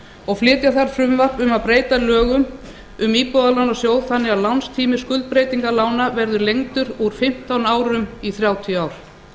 og flytja þarf frumvarp um að breyta lögum um íbúðalánasjóð þannig að lánstími skuldbreytingalána verði lengdur úr fimmtán árum í þrjátíu ár